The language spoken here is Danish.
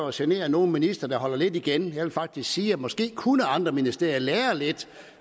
at genere nogen minister der holder lidt igen jeg vil faktisk sige at måske kunne andre ministerier lære lidt